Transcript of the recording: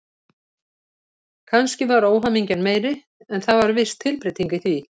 Kannski var óhamingjan meiri, en það var viss tilbreyting í því.